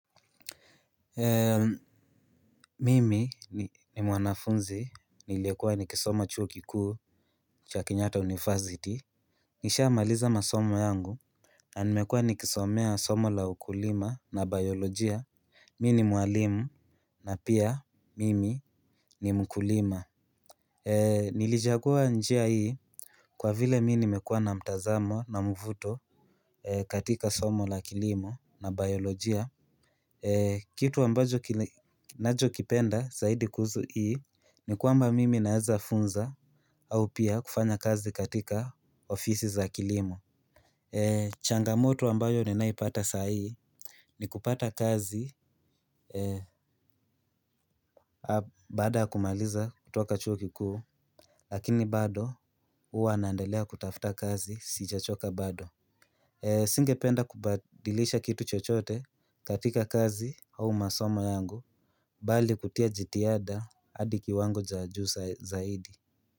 Mimi ni mwanafunzi nilikuwa nikisoma chuo kikuu cha kenyata university. Nishaamaliza masomo yangu na nimekua nikisomea somo la ukulima na biolojia. Mi ni mwalimu na pia mimi ni mkulima. Nilichagua njia hii kwa vile mi nimekua na mtazamo na mvuto katika somo la kilimo na biolojia. Kitu ambacho nachokipenda zaidi kuusu hii ni kwamba mimi naeza funza au pia kufanya kazi katika ofisi za kilimo. Changamoto ambayo ninaipata sahii ni kupata kazi baada ya kumaliza kutoka chuo kikuu lakini bado uwa naendelea kutafuta kazi sijachoka bado. Singependa kubadilisha kitu chochote katika kazi au masomo yangu bali kutia jitiada adi kiwango cha juu sa zaidi.